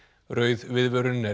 rauð viðvörun er